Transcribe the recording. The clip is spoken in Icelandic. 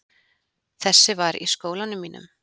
Þessi var í skólanum mínum.